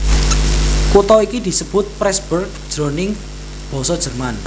Kutha iki disebut Pressburg jroning basa Jerman